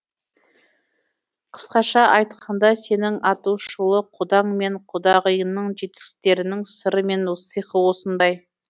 қысқаша айтқанда сенің атышулы құдаң мен құдағиыңның жетістіктерінің сыры мен сиқы осындай